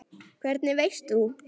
Hvernig veist þú.?